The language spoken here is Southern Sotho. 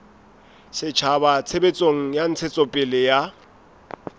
setjhaba tshebetsong ya ntshetsopele ya